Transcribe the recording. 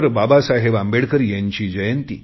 बाबासाहेब आंबेडकर यांची जयंती